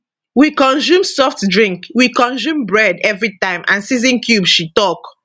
we consume soft drink we consume bread everi time and season cube she tok